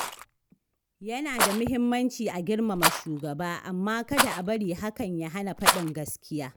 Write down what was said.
Yana da muhimmanci a girmama shugaba, amma kada a bari hakan ya hana faɗin gaskiya.